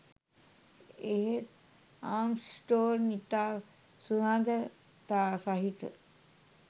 එහෙත් ආම්ස්ට්‍රෝං ඉතා සුහදතා සහිත